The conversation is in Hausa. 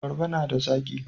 Abarba na da zaki.